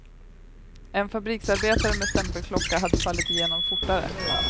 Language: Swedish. En fabriksarbetare med stämpelklocka hade fallit igenom fortare.